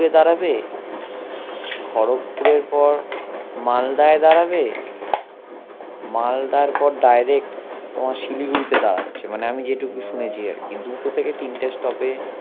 দাঁড়াবে খরব পুরের পর মালদায় দাঁড়াবে মালদার পর direct তোমার শিলিগুড়িতে দাঁড়াচ্ছে মানে আমি যে টুকু শুনেছি আরকি দুটো থেকে তিনটে stoppage